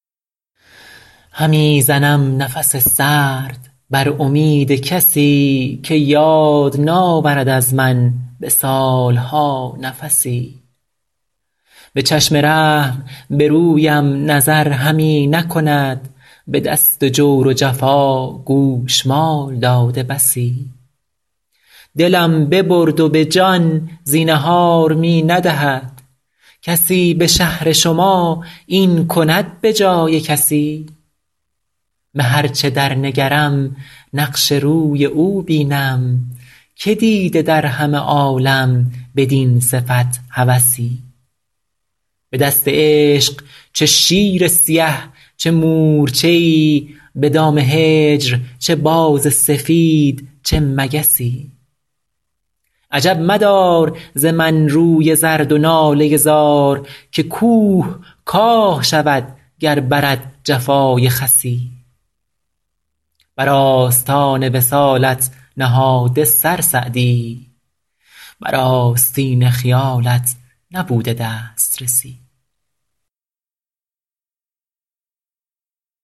همی زنم نفس سرد بر امید کسی که یاد ناورد از من به سال ها نفسی به چشم رحم به رویم نظر همی نکند به دست جور و جفا گوشمال داده بسی دلم ببرد و به جان زینهار می ندهد کسی به شهر شما این کند به جای کسی به هر چه در نگرم نقش روی او بینم که دیده در همه عالم بدین صفت هوسی به دست عشق چه شیر سیه چه مورچه ای به دام هجر چه باز سفید چه مگسی عجب مدار ز من روی زرد و ناله زار که کوه کاه شود گر برد جفای خسی بر آستان وصالت نهاده سر سعدی بر آستین خیالت نبوده دسترسی